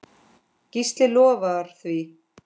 Gísli lofar því.